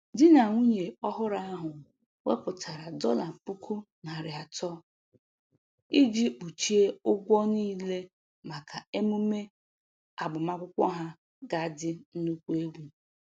Di na nwunye ọhụrụ ahụ wepụtara dọla puku narị atọ iji kpuchie ụgwọ niile maka emume agbamakwụkwọ ha ga adị nnukwu egwu